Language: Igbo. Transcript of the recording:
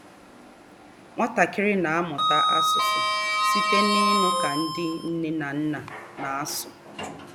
Nwatakịrị na-amụta asụsụ site n'ịnụ ka ndị nne na nna na-asụ.